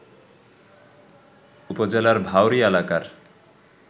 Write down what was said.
উপজেলার ডাওরী এলাকার